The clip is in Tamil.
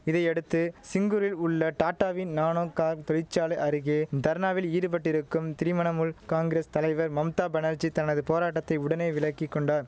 இதையடுத்து சிங்கூரில் உள்ள டாட்டாவின் நானோ கார் தொழிற்சாலை அருகே தர்ணாவில் ஈடுபட்டிருக்கும் திரிமணமுல் காங்கிரஸ் தலைவர் மம்தா பனர்ஜி தனது போராட்டத்தை உடனே விலக்கி கொண்டார்